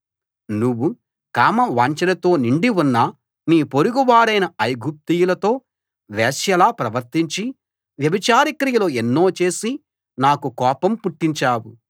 నువ్వు కామ వాంఛలతో నిండి ఉన్న నీ పొరుగువారైన ఐగుప్తీయులతో వేశ్యలా ప్రవర్తించి వ్యభిచార క్రియలు ఎన్నో చేసి నాకు కోపం పుట్టించావు